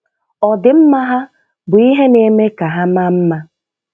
Ọdịmma ha bụ ihe na-eme ka ha maa mma.